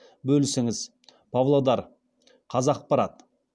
бөлісіңіз павлодар қазақпарат